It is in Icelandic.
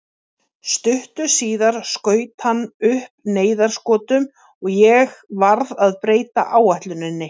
Stuttu síðar skaut hann upp neyðarskotunum og ég varð að breyta áætluninni.